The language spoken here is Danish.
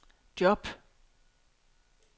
job